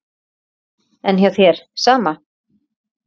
Lillý: En hjá þér, sama?